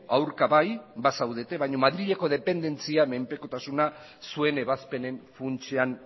aurka bai bazaudete baina madrileko dependentzia menpekotasuna zuen ebazpenen funtsean